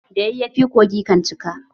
Da yayyafi kogi kan cika